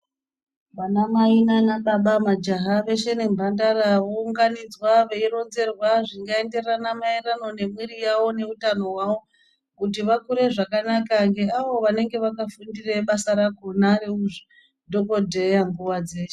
Vana mai nana baba majaha veshe ne mbandara vo unganidzwa vei ronzerwa zvinga enderana maererano ne mwiri yavo ne utano hwawo kuti vakure zvakanaka nge avo vanenge vaka fundire basa rakona reuzvi dhokodheya nguva dzeshe.